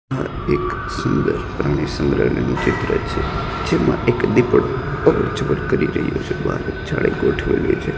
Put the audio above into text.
આ એક સુંદર પ્રાણી સંગ્રાલયનુ ચિત્ર છે જેમા એક દીપડો અવર જવર કરી રહ્યો છે